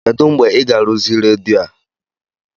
Kedụ mgbe ị ga-arụzi redio a?